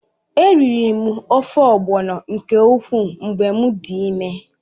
Eriri m ofe ogbọ̀nọ nke ukwuu mgbe m dị ịme.